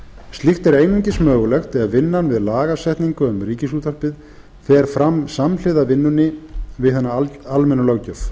slíkt er einungis mögulegt ef vinnan við lagasetningu um ríkisútvarpið fer fram samhliða vinnunni við hina almennu löggjöf